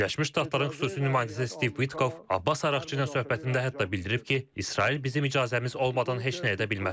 Birləşmiş Ştatların xüsusi nümayəndəsi Stiv Vitkov Abbas Araqçı ilə söhbətində hətta bildirib ki, İsrail bizim icazəmiz olmadan heç nə edə bilməz.